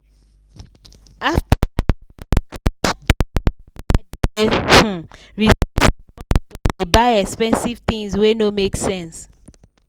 after i clear my card debt i dey um resist the urge to dey buy expensive tins wey no make sense.